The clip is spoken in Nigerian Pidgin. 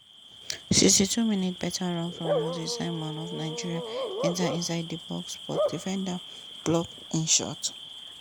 sixty two minute beta run from moses simon of nigeria enta inside di box but defender block im shot.